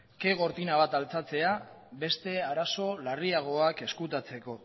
ke gortina bat altxatzea beste arazo larriagoak ezkutatzeko